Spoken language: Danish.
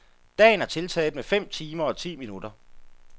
Dagen tiltaget med fem timer og ti minutter.